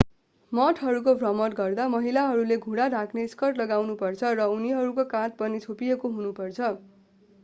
मठहरूको भ्रमण गर्दा महिलाहरूले घुँडा ढाक्ने स्कर्ट लगानुपर्छ र उनीहरूको काँध पनि छोपिएको हुनुपर्छ